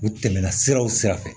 U tɛmɛna siraw sira fɛ